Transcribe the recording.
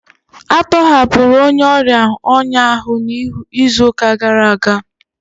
A tọhapụrụ onye ọrịa ọnya ahụ n'izu gara aga